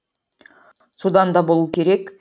содан да болу керек